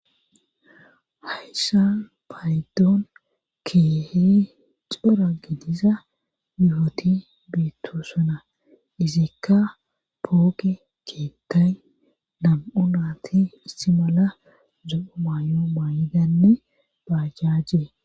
Hayssa payddoon keehi cira gidisa bifoti biitto sona izikka pooke ceekay nam7o naati issi mala zo7o maayo maayidanne baajjajje..